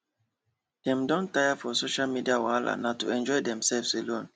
dem don tire for social media wahala na to enjoy demselves alone